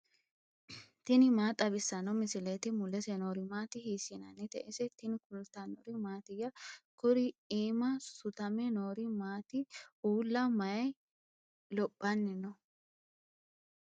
tini maa xawissanno misileeti ? mulese noori maati ? hiissinannite ise ? tini kultannori mattiya? Kurri iimma suttame noori maatti? uulla mayi lophanni noo?